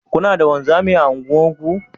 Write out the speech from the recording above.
Kuna da wanzami a unguwarku?